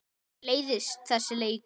Mér leiðist þessi leikur.